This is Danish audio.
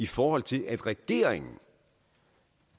fordi regeringen